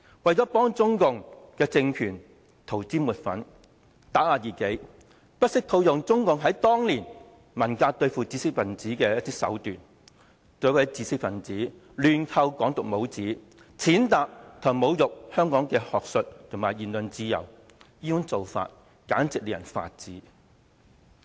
為了給中共政權塗脂抹粉，打壓異己，不惜套用中共在當年文革對付知識分子的手段，對一位知識分子亂扣"港獨"帽子，踐踏和侮辱香港的學術和言論自由，這種做法簡直令人髮指。